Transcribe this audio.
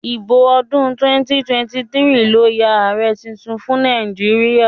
ìbò ọdún 2023 ló Yàn Ààrẹ títún fún Nàìjíríà